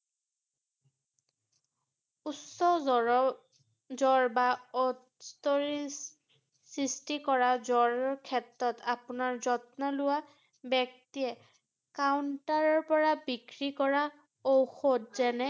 উচ্চ জ্বৰ~ জ্বৰ বা সৃষ্টি কৰা জ্বৰৰ ক্ষেত্ৰত আপোনাৰ যত্ন লোৱা ব্যক্তিয়ে counter -ৰ পৰা বিক্ৰী কৰা ঔষধ যেনে